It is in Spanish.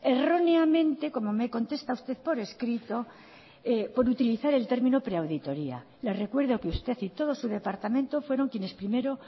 erróneamente como me contesta usted por escrito por utilizar el término pre auditoría le recuerdo que usted y todo su departamento fueron quienes primero